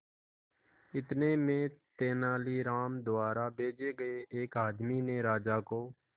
इतने में तेनालीराम द्वारा भेजे गए एक आदमी ने राजा को